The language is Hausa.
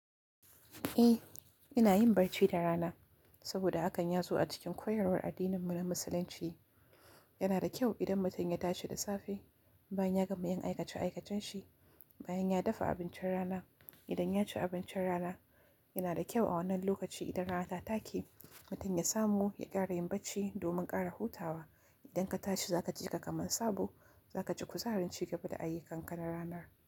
Eh ina yin barci da rana saboda hakan ya zo a cikin koyarwar addininmu na Musulunci. Yana da kyau idan mutum ya tashi da safe bayan ya gama yin aikace aikacenshi, bayan ya dafa abincin rana. Idan ya ci abincin rana, yana da kyau a wannan lokaci idan rana ta take mutum ya samu ya ƙara yin barci domin ƙara hutawa. Idan ka tashi za ka jika kamar sabo, za ka ji kuzaharin ci gaba da ayyu kanka na ranar.